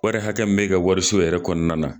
Wari hakɛ min be ka wariso yɛrɛ kɔnɔna